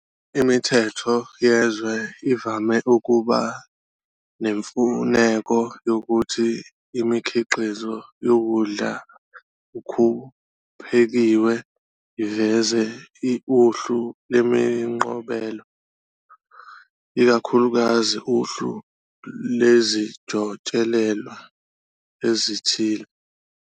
Imithetho yezwe ivame ukuba nemfuneko yokuthi imikhiqizo yokudla ukuphekiwe iveze uhlu lemiqobelo, ikakhulukazi uhlu lezijotshelelwa ezithile.